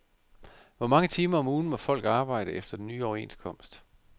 Hvor mange timer om ugen må folk arbejde efter den nye overenskomst?